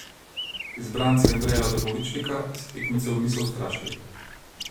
Izbranci Andreja Dobovičnika se tekmecev niso ustrašili.